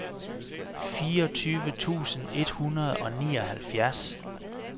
fireogtyve tusind et hundrede og nioghalvfjerds